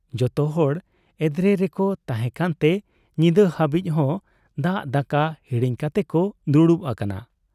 ᱡᱚᱛᱚᱦᱚᱲ ᱮᱫᱽᱨᱮ ᱨᱮᱠᱚ ᱛᱟᱦᱮᱸ ᱠᱟᱱᱛᱮ ᱧᱤᱫᱟᱹ ᱦᱟᱹᱵᱤᱡ ᱦᱚᱸ ᱫᱟᱜ ᱫᱟᱠᱟ ᱦᱤᱲᱤᱧ ᱠᱟᱛᱮᱠᱚ ᱫᱩᱲᱩᱵ ᱟᱠᱟᱱᱟ ᱾